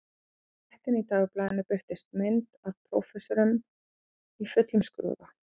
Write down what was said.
Með fréttinni í dagblaðinu birtist mynd af prófessornum í fullum skrúða